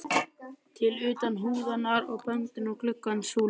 til utan húðunar á bönd og glugga súlur.